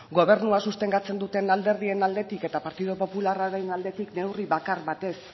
gobernua sustengatzen duten alderdien aldetik eta partidu popularraren aldetik neurri bakar bat ez